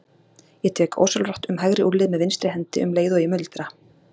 Ég tek ósjálfrátt um hægri úlnlið með vinstri hendi um leið og ég muldra